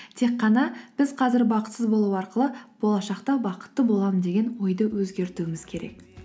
тек қана біз қазір бақытсыз болу арқылы болашақта бақытты боламын деген ойды өзгертуіміз керек